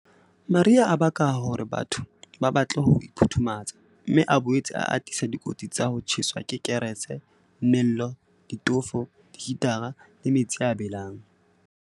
Mariha a baka hore batho ba batle ho iphuthumatsa, mme a boetse a atisa dikotsi tsa ho tjheswa ke dikerese, mello, ditofo, dihitara le metsi a belang.